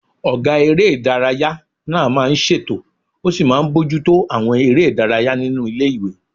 Ọgá eré ìdárayá náà máa n ṣètò ó sì máa n bojútó àwọn eré ìdárayá nínu ilé-ìwé